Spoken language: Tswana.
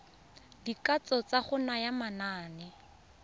dikatso tsa go naya manane